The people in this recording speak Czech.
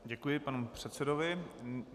Děkuji panu předsedovi.